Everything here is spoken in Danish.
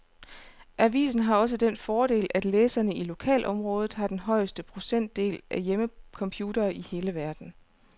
Avisen har også den fordel, at læserne i lokalområdet har den højeste procentdel af hjemmecomputere i hele verden.